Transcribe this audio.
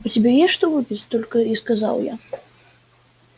у тебя есть что выпить только и сказал я